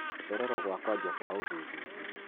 Gucererwo gũa kũanjia kwa ũthuthuria.